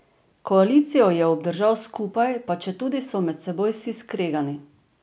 Koalicijo je obdržal skupaj, pa četudi so med seboj vsi skregani.